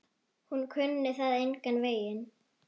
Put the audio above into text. Hún kunni það engan veginn.